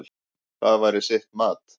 Það væri sitt mat.